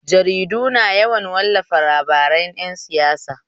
Jaridu na yawan wallafa labaran ƴan siyasa.